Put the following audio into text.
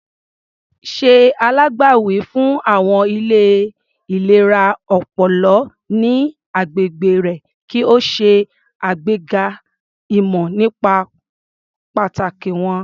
Ṣe alágbàwí fún àwọn ilé ìlera ọpọlọ ní agbègbè rẹ kí o ṣe àgbega ìmọ̀ nípa pàtàkì wọ́n.